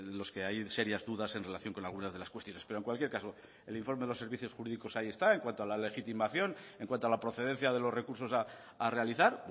los que hay serias dudas en relación con algunas de las cuestiones pero en cualquier caso el informe de los servicios jurídicos ahí está en cuanto a la legitimación en cuanto a la procedencia de los recursos a realizar